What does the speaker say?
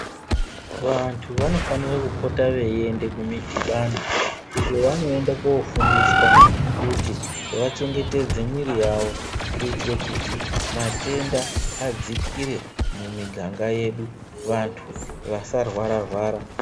Vantu vanofanire kupota veiende kumidhibano uko kwavanoende kofundiswa kuti vachengetedze mwiri yawo kuitire kuti matenda adzikirE mumiganga yedu vantu vasarwara rwara.